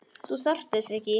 Þú þarft þess ekki.